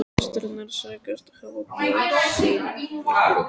Systurnar segjast hafa búið sín í hvoru húsi.